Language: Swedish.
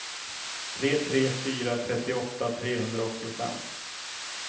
tre tre tre fyra trettioåtta trehundraåttiofem